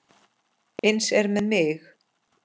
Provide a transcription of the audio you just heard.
Eins er með mig.